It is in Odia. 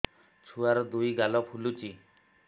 ଛୁଆର୍ ଦୁଇ ଗାଲ ଫୁଲିଚି